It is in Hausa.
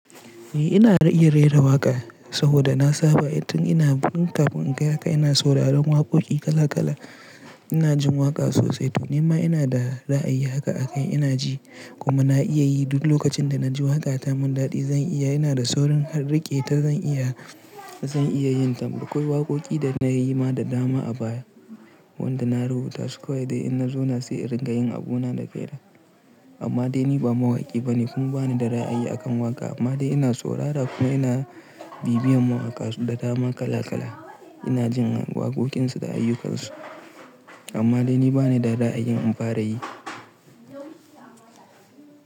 Eh ina iya rera waƙa saboda na saba tun ina tun kafin in kai haka ina sauraron waƙoƙi kala kala. Ina jin waƙa sosai tunima ina da ra'ayi haka a kai ina ji kuma na iya yi duk lokacin da na ji waka ta mun daɗi zan iya. Ina da saurin riƙeta zan iya zan iya yin. Akwai waƙoƙi da na yi ma da dama a baya wanda na rubuta su. Kowai dai in na zauna sai in ringa yin abuna da kaina. Amma dai ni ba mawaƙi bane kuma bani da ra'ayi a kan waƙa amma dai ina saurara kuma ina bibiyan mawaƙa da dama kala kala. Ina jin waƙoƙinsu da ayyukansu amma dai ni bani da ra'ayin in fara yi.